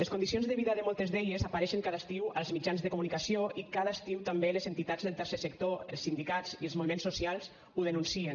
les condicions de vida de moltes d’elles apareixen cada estiu als mitjans de comunicació i cada estiu també les entitats del tercer sector els sindicats i els moviments socials ho denuncien